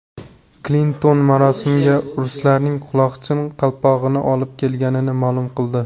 Klinton marosimga ruslarning quloqchin-qalpog‘ini olib kelganini ma’lum qildi.